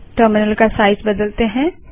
terminal का size बदलते हैं